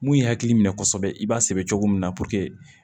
Mun ye hakili minɛ kosɛbɛ i b'a sɛbɛ cogo min na